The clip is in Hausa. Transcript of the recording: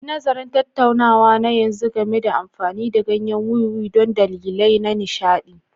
Yi nazarin tattaunawa na yanzu game da amfani da ganyen wiwi don dalilai na nishaɗi.